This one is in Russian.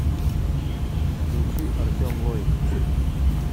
включи артем лоик